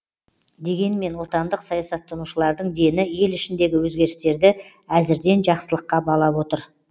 дегенмен отандық саясаттанушылардың дені ел ішіндегі өзгерістерді әзірден жақсылыққа балап отыр